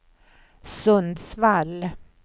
Sundsvall